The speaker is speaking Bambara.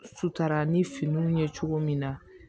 Sutara ni fini ye cogo min na